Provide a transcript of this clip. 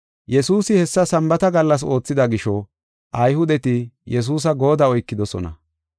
Yesuusi hessa Sambaata gallas oothida gisho, Ayhudeti Yesuusa goodda oykidosona.